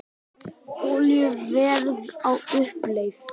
Olíuverð á uppleið